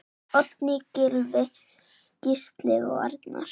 Oddný, Gylfi, Gísli og Arnar.